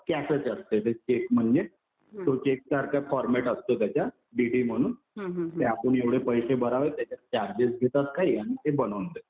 कॅशच असते चेक म्हणजे. तो चेक सारखा फॉरमॅट असतो त्याचा. डीडी म्हणून कि आपण एवढे पैसे भरावे त्याच्यात चार्जेस घेतात काही आणि ते बनवून देतात.